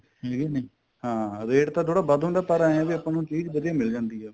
ਠੀਕ ਏ ਨਹੀਂ ਹਾਂ rate ਤਾਂ ਥੋੜਾ ਵੱਧ ਹੁੰਦਾ ਪਰ ਇਹ ਆ ਵੀ ਆਪਾਂ ਨੂੰ ਚੀਜ਼ ਵਧੀਆ ਮਿਲ ਜਾਂਦੀ ਏ